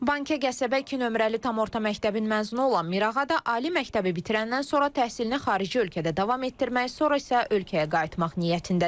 Bankə qəsəbə 2 nömrəli tam orta məktəbin məzunu olan Mirağa da ali məktəbi bitirəndən sonra təhsilini xarici ölkədə davam etdirmək, sonra isə ölkəyə qayıtmaq niyyətindədir.